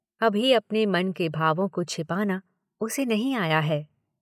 अभी अपने मन के भावों को छिपाना उसे नहीं आया है।